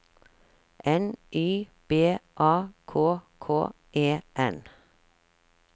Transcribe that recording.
N Y B A K K E N